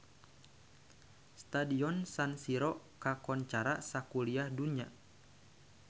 Stadion San Siro kakoncara sakuliah dunya